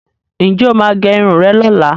Ǹ jẹ́ o máa gẹ irun rẹ lọ́la?